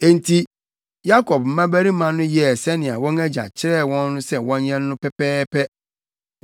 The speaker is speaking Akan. Enti Yakob mmabarima no yɛɛ sɛnea wɔn agya kyerɛɛ wɔn sɛ wɔnyɛ no pɛpɛɛpɛ.